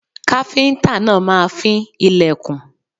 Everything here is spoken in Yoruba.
Káfíńńtà máa fín ilẹ̀kùn.